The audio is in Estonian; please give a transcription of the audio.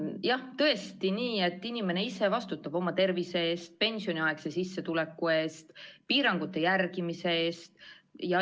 On jah tõesti nii, et inimene ise vastutab oma tervise eest, pensioniaegse sissetuleku eest ja piirangute järgimise eest.